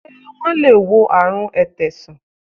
Ṣé wọn le wo àrùn ètè san?